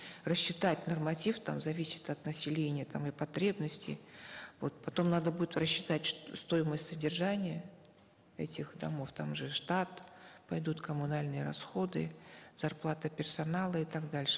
рассчитать норматив там зависит от населения там и потребности вот потом надо будет рассчитать стоимость содержания этих домов там же штат пойдут коммунальные расходы зарплата персонала и так дальше